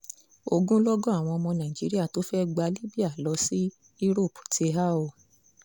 ogunlọ́gọ̀ àwọn ọmọ nàìjíríà tó fẹ́ẹ́ gba libya lọ sí europe ti há o